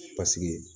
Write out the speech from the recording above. Paseke